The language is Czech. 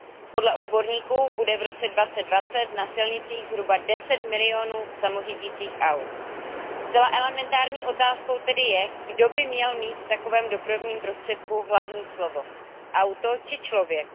Podle odborníků bude v roce 2020 na silnicích zhruba 10 milionů samořídicích aut. Zcela elementární otázkou tedy je, kdo by měl mít v takovém dopravním prostředku hlavní slovo auto či člověk?